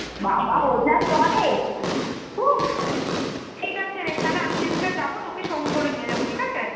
বাবা ও যা পারে! উহ ঠিকাছে রে তাহলে আমি যেদিনকার যাবো তোকে সঙ্গে করে নিয়ে যাবো , ঠিকাছে?